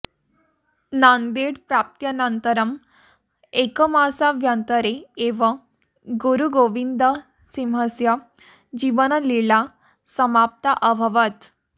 नान्देड् प्राप्त्यनन्तरं एकमासाभ्यन्तरे एव गुरुगोविन्दसिंहस्य जीवनलीला समाप्ता अभवत्